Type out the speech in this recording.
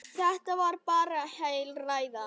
Þetta var bara heil ræða.